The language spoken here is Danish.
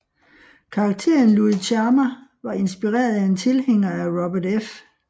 Karakteren Luis Chama var inspireret af en tilhænger af Robert F